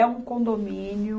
É um condomínio.